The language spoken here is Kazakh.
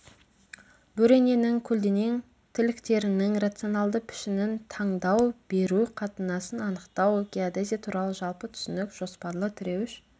бөрененің көлденең тіліктерінің рационалды пішінін таңдау беру қатынасын анықтау геодезия туралы жалпы түсінік жоспарлы тіреуіш